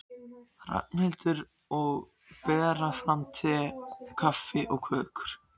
Ragnhildur, og bera fram te, kaffi og kökur.